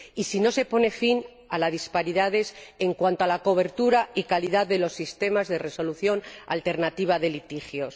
y si no se pone fin a las disparidades en cuanto a la cobertura y la calidad de los sistemas de resolución alternativa de litigios.